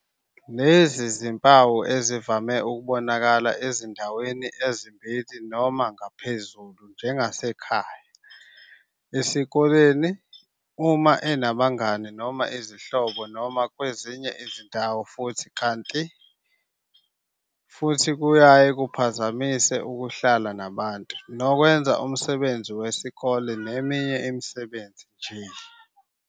"Lezi zimpawu ezivame ukubonakala ezindaweni ezimbili noma ngaphezulu njengasekhaya, esikoleni, uma enabangani noma izihlobo noma kwezinye nje izindawo kanti futhi kuyaye kuphazamise ukuhlala nabantu, nokwenza umsebenzi wesikole neminye imisebenzi nje."